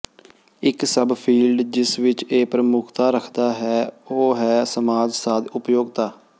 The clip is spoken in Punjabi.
ਇਕ ਸਬਫੀਲਡ ਜਿਸ ਵਿੱਚ ਇਹ ਪ੍ਰਮੁੱਖਤਾ ਰੱਖਦਾ ਹੈ ਉਹ ਹੈ ਸਮਾਜ ਸਾਧ ਉਪਯੋਗਤਾ